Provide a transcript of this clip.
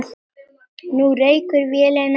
Nú reykir vélin ekki neitt.